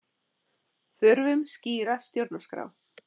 Þurfum skýra stjórnarskrá